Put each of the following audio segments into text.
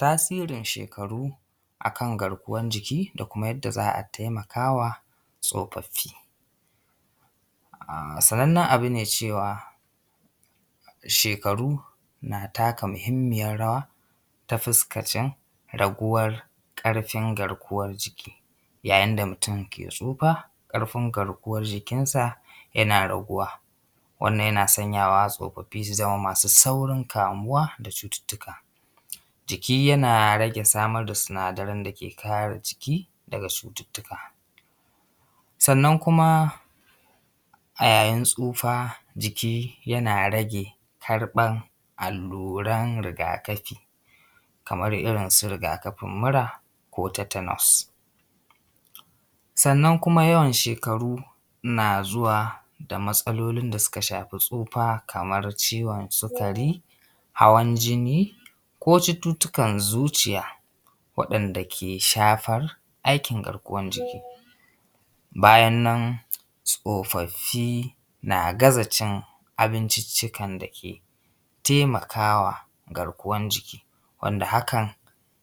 Tasirin shekaru a kan garkuwan jiki da kuma yanda za a taimaka wa tsofaffi. Sanannen abu ne cewa da shekaru na taka muhimmiyar rawa ta fuskacin raguwar ƙarfin garkuwar jiki, yayin da mutum ke tsufa ƙarfin garkuwar jikin sa yana raguwa. Wannan yana sanyawa tsofaffi su zama masu saurin kamuwa da cututtuka. Jiki yana rage samar da sinadaran da ke kare jiki daga cututtuka, sannan kuma a yayin tsufa jiki yana rage karɓan alluran rigakafi kamar irin su rigakafin mura ko tetanus. Sannan kuma yawan shekaru na zuwa da matsalolin da suka shafi tsufa kamar ciwon sikari, hawan jini ko cututtukan zuciya waɗanda ke shafar aikin garkuwar jiki. Bayan nan tsofaffi na gaza cin abinciccikan da ke taimakawa garkuwan jiki, wanda hakan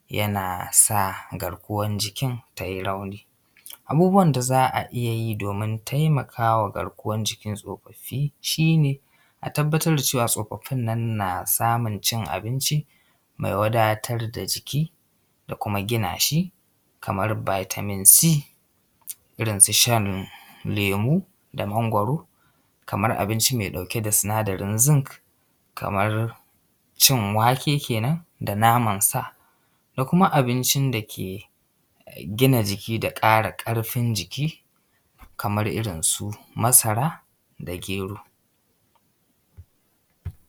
yana sa garkuwan jikin ta yi rauni. Abubuwan da za a iya yi domin taimaka wa garkuwan jikin tsofaffi shi ne a tabbatar da cewa tsofaffin nan na samun cin abinci mai wadatar da jiki da kuma gina shi kamar vitamin c ,irin su shan lemu da mangwaro kamar abinci mai ɗauke da sinadarin zinc, kamar cin wake kenan, da naman sa da kuma abincin da ke gina jiki da ƙara ƙarfin jiki kamar irin masara da gero.